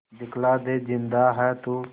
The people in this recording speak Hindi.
दिखला दे जिंदा है तू